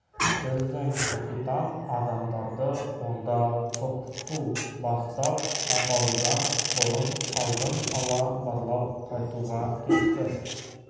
біздің капитан адамдарды онда тұп-ту бастап апарудан бұрын алдын ала барлап қайтуға кетті